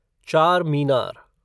Charminar